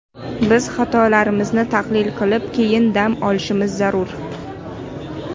Biz xatolarimizni tahlil qilib, keyin dam olishimiz zarur.